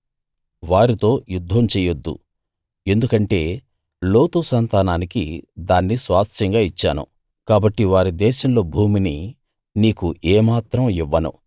వారితో యుద్ధం చేయొద్దు ఎందుకంటే లోతు సంతానానికి దాన్ని స్వాస్థ్యంగా ఇచ్చాను కాబట్టి వారి దేశంలో భూమిని నీకు ఏ మాత్రం ఇవ్వను